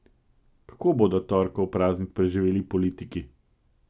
Kako bodo torkov praznik preživeli politiki?